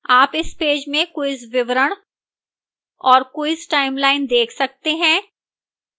आप इस पेज में quiz विवरण और quiz timeline देख सकते हैं